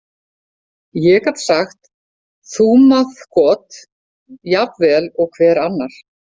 Ég gat sagt þkúmaþkot jafn vel og hver annar.